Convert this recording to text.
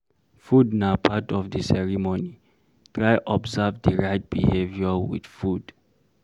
Food na part of di ceremony, try observe di right behaviour with food